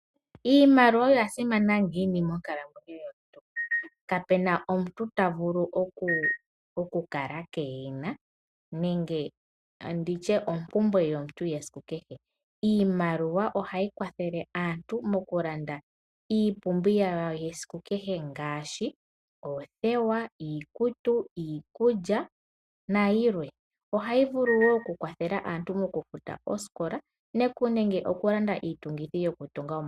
Iimaliwa oya simana ngiini monkalamwenyo yomuntu! Kapena omuntu ta vulu okukala keehe yi na nenge nditye ompumbwe yomuntu yesiku kehe. Iimaliwa ohayi kwathele aantu mokulanda iipumbiwa yawo yesiku kehe ngaashi; oothewa, iikutu, iikulya na yilwe. Ohayi vulu wo okukwathela aantu mokufuta oosikola nenge okulanda iitungithi yokutunga omagumbo.